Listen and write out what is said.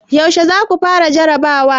Yaushe za ku fara jarrabawa?